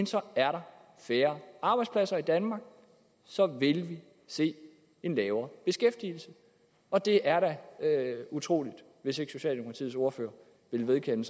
så er der færre arbejdspladser i danmark at så vil vi se en lavere beskæftigelse og det er da utroligt hvis ikke socialdemokratiets ordfører vil vedkende